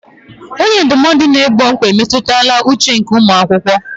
Onye ndụmọdụ na-egbo mkpa mmetụta uche nke ụmụ akwụkwọ.